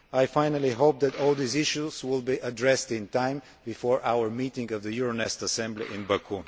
Finally, I hope that all these issues will be addressed in time, before our meeting of the Euronest Assembly in Baku.